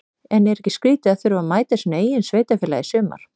En er ekki skrítið að þurfa að mæta sínu eigin félagi í sumar?